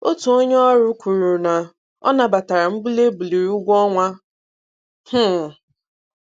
Otu onye ọrụ kwuru na ọ nabatara mbuli e buliri ụgwọ-ọnwa. um